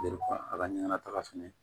a ka ɲana taga fɛnɛ ye